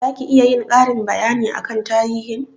Za ki iya yin karin bayani akan tarihin?